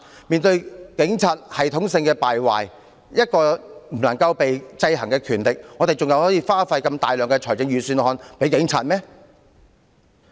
面對警察系統性敗壞，一個不能受制衡的權力，我們還要在預算案中分撥如此大量款項給警務處？